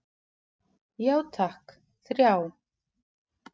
Já takk, þrjá.